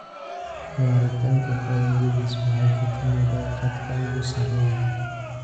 "Waaritaanka faa'iidadaas waxay ka timaadaa khadka ugu sarreeya.